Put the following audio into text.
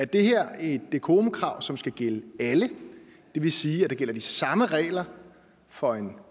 det her er et decorumkrav som skal gælde alle det vil sige at der gælder de samme regler for en